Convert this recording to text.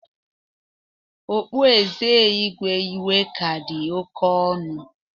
Ọkpụeze Igwe Iweka dị oke ọnụ.